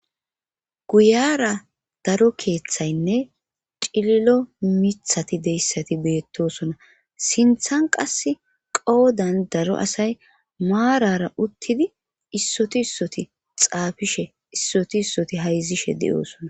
guyera daro keeththaynne cililo mithati deyssati beettosona sinthan qas qoodan daro asay maarara uttidi issoti issoti xaafishe issoti issoti hayzishe de7oosona